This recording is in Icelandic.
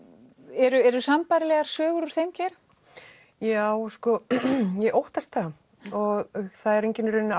eru eru sambærilegar sögur úr þeim geira já sko ég óttast það og það er engin í raun